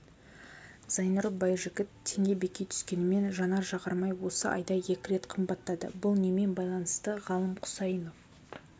зайнұр байжігіт теңге беки түскенімен жанар-жағармай осы айда екі рет қымбаттады бұл немен байланысты ғалым құсайынов